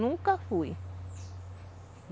Nunca fui.